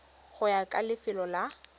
go ya ka lefelo la